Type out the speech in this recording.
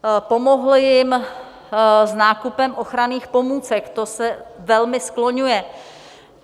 Pomohl jim s nákupem ochranných pomůcek, to se velmi skloňuje.